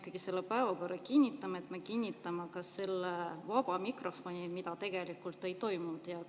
Kui me selle päevakorra kinnitame, siis me kinnitame ka vaba mikrofoni, mida tegelikult ei ole toimunud.